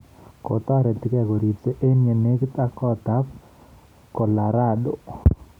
Kotoretigei kogoripsii en yenegiit ak koot ab Colorado.